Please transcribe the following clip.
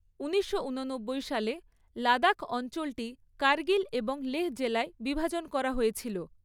ঊনিশশো উননব্বই সালে লাদাখ অঞ্চলটি কার্গিল এবং লেহ্‌ জেলায় বিভাজন করা হয়েছিল।